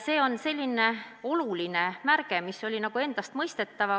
See on selline oluline märk, mis oli nagu endastmõistetav.